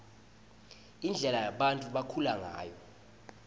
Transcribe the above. indlela bantfu labakhula ngayo